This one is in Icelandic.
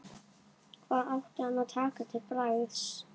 Hvað átti hann að taka til bragðs?